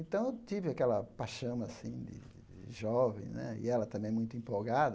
Então eu tive aquela paixâo assim de de jovem né, e ela também é muito empolgada.